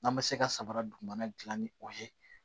N'an bɛ se ka samara dugumana dilan ni o ye